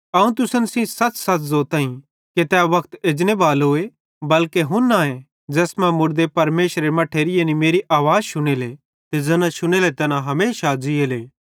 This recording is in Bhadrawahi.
अवं तुसन सेइं सच़सच़ ज़ोताईं कि तै वक्त एजनेबालोए बल्के हुन्नाए ज़ैस मां मुड़दे परमेशरेरे मट्ठेरी यानी मेरी आवाज़ शुनेले ते ज़ैना शुनेले तैना हमेशा ज़ीएले